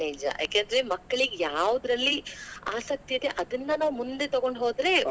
ನಿಜ ಯಾಕೆಂದ್ರೆ ಮಕ್ಕಳಿಗ್ ಯಾವದ್ರಲ್ಲಿ ಆಸಕ್ತಿ ಇದೆ ಅದನ್ನ ನಾವ್ ಮುಂದೆ ತುಗೊಂಡ ಹೋದ್ರೆ,